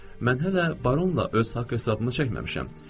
Mən hələ baronla öz haqq hesabımı çəkməmişəm.